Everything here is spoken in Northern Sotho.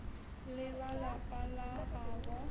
le ba lapa la gabo